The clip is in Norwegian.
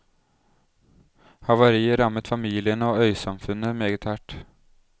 Havariet rammet familiene og øysamfunnet meget hardt.